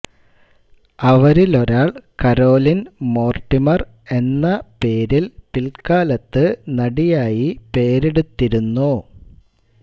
അവരിലൊരാൾ Caroline Mortimer എന്ന പേരിൽ പിൽക്കാലത്ത് നടിയായി പേരെടുത്തിരുന്നു